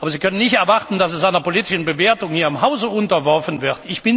Aber Sie können nicht erwarten, dass es einer politischen Bewertung hier im Hause unterworfen wird.